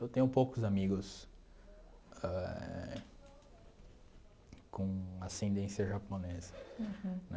Eu tenho poucos amigos éh com ascendência japonesa. Uhum. Né